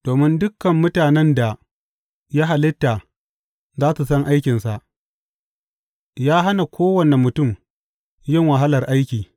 Domin dukan mutanen da ya halitta za su san aikinsa, ya hana kowane mutum yin wahalar aiki.